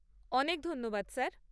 অনেক ধন্যবাদ স্যার।